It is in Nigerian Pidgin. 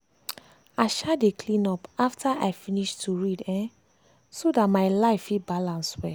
i um dey cleean up after i finish to read um so dat my life fit balance well.